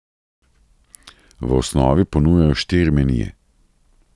V osnovi ponujajo štiri menije.